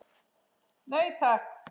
Nei, takk!